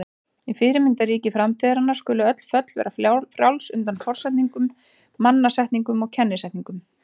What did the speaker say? Í fyrirmyndarríki framtíðarinnar skulu öll föll vera frjáls undan forsetningum, mannasetningum og kennisetningum.